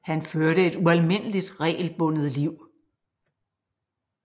Han førte et ualmindeligt regelbundet liv